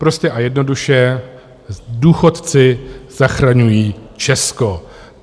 Prostě a jednoduše, důchodci zachraňují Česko.